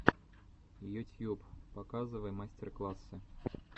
ютьюб показывай мастер классы